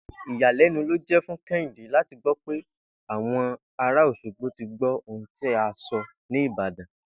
Ìyàlé̩nu ló jé̩ fún Ké̩hìndé láti gbó̩ pé àwo̩n ara Òs̩ogbo ti gbó̩ ohun tí a so̩ ní Ìbàdàn!